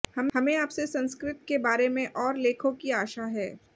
हमें आपसे संस्कृत के बारे में और लेखो की आशा है